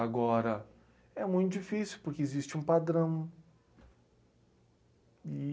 Agora, é muito difícil, porque existe um padrão,